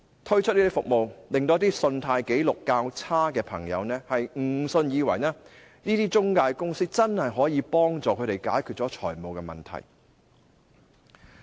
推出這樣的服務，令到一些信貸紀錄較差的朋友，誤以為這些中介公司真的可以幫助他們解決財務問題。